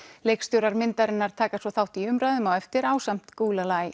leikstjórar myndarinnar taka svo þátt í umræðum á eftir ásamt